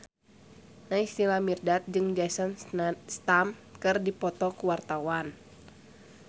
Naysila Mirdad jeung Jason Statham keur dipoto ku wartawan